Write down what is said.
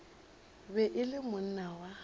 be e le monna wa